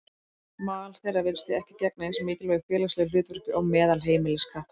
Mal þeirra virðist því ekki gegna eins mikilvægu félagslegu hlutverki og meðal heimiliskatta.